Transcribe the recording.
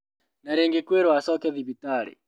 Na rĩngĩ kwĩrwo acoke thibitarĩ